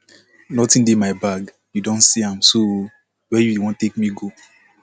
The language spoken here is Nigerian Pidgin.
nothing dey my bag you don see am so where you wan take me go